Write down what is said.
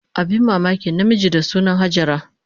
Abin mamaki, namiji da suna Hajara